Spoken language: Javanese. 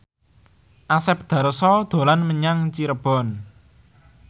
Asep Darso dolan menyang Cirebon